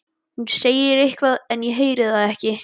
Hún segir eitthvað en ég heyri það ekki.